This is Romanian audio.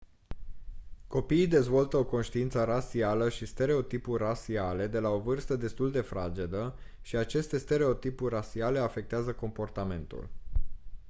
copiii dezvoltă o conștiință rasială și stereotipuri rasiale de la o vârstă destul de fragedă și aceste stereotipuri rasiale afectează comportamentul